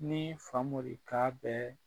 Nii Famori k'a bɛɛ